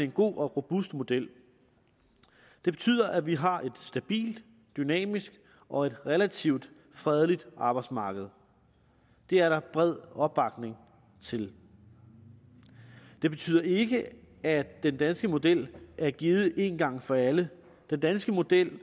god og robust model det betyder at vi har et stabilt dynamisk og relativt fredeligt arbejdsmarked det er der bred opbakning til det betyder ikke at den danske model er givet én gang for alle den danske model